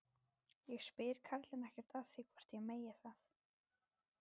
Ég spyr karlinn ekkert að því hvort ég megi það.